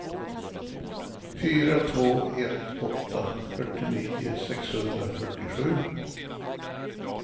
fyra två ett åtta fyrtionio sexhundrafyrtiosju